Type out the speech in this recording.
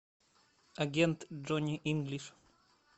агент джонни инглиш